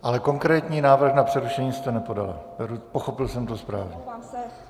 Ale konkrétní návrh na přerušení jste nepodala, pochopil jsem to správně.